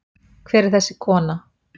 Hver er þessi kona?